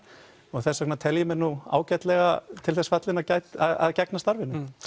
og þess vegna tel ég mig nú ágætlega til þess fallinn að gegna starfinu